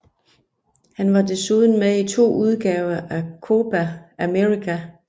Han var desuden med i to udgaver af Copa América